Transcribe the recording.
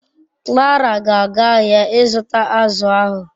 Clara ga aga ahia I zuta azu ahu